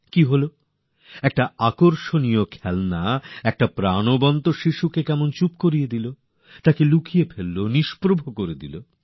মানে এক আকর্ষনীয় খেলনা এসে এক শিশুর উৎকর্ষকে যেন কোথাও দাবিয়ে দিলো লুকিয়ে ফেললো অচেতন করে দিলো